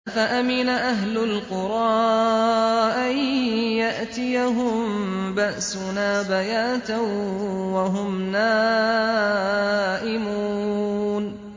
أَفَأَمِنَ أَهْلُ الْقُرَىٰ أَن يَأْتِيَهُم بَأْسُنَا بَيَاتًا وَهُمْ نَائِمُونَ